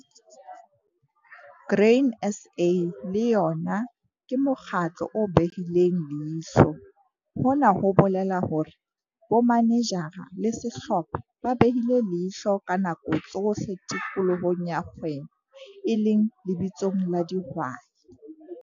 Grain SA le yona ke mokgatlo o behileng leihlo. Hona ho bolela hore bomanejara le sehlopha ba behile leihlo ka nako tsohle tikolohong ya kgwebo, e leng lebitsong la dihwai.